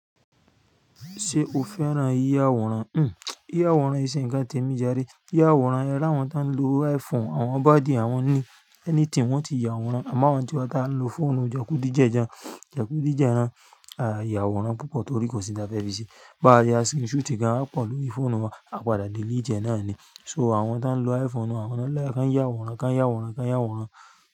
Ṣé o fẹ́ràn yíya àwòrán? Hmm, yíya àwòrán e ṣe ǹkan tí èmi járe. Yíya àwòrán, ẹráwọn tó ń lo iPhone, àwọn baddie àwọn eléyìí anything wọ́n ti ya àwòrán, àmọ́ àwa ntí wá tá ń lo fóònù jàkúdì jẹ́ẹjan jàkúdì jẹ́ẹran, a yà àwòrán púpọ̀ torí kò sí ǹkan tá fẹ́ fi ṣe. Bá ya screen shoot kan, a pọ̀ lórí fóònù wa, a padà delete ẹ náà ni. So àwọn tó ń lo iPhone, àwọn náà ń like kàn yà àwòrán, kán yà àwòrán, kán yà àwòrán.